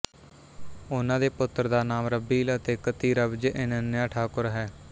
ਉਨ੍ਹਾਂ ਦੇ ਪੁੱਤਰ ਦਾ ਨਾਮ ਰੱਬੀਲ ਅਤੇ ਇੱਕ ਧੀ ਰਬਜੇ ਇੱਨਨਯਾ ਠਾਕੁਰ ਹੈ